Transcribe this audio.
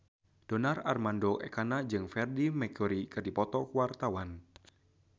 Donar Armando Ekana jeung Freedie Mercury keur dipoto ku wartawan